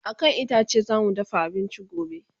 a kan itace zamu dafa abinci gobe